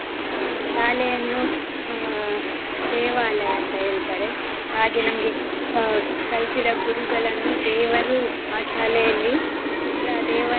ಅಹ್ ಶಾಲೆಯನ್ನು ಅಹ್ ದೇವಾಲಯ ಅಂತ ಹೇಳ್ತಾರೆ ಹಾಗೆ ನಮ್ಗೆ ಅಹ್ ಕಲ್ಸಿದ ಗುರುಗಳನ್ನು ದೇವರು ಆ ಶಾಲೆಯಲ್ಲಿ ಅಂದ್ರೆ ಆ ದೇವಾಲಯದ